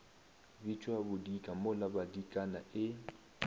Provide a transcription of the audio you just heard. bitšwa bodika mola badikana e